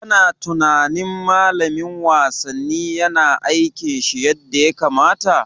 Kana tunanin Malamin wasanni yana aikin shi yadda ya kamata?